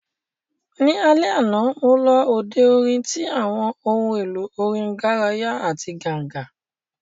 Ní alẹ́ àná, mo lọ òde orin tí àwọn ohun èlò orin garaya àti ganga